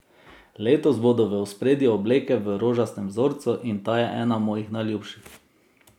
Letos bodo v ospredju obleke v rožastem vzorcu in ta je ena mojih najljubših.